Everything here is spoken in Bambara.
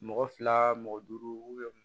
Mɔgɔ fila mɔgɔ duuru